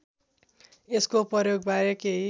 यसको प्रयोगबारे केही